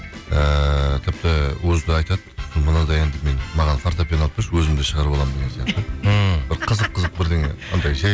ыыы тіпті өзі де айтады мынандай әнді мен маған фортепиано алып берші өзім де шығарып аламын деген сияқты ммм қызық қызық бірдеңе анандай жай